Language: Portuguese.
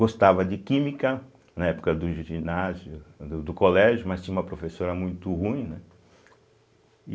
Gostava de química, na época do ginásio, do do colégio, mas tinha uma professora muito ruim, né.